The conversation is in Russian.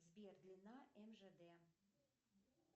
сбер длина мжд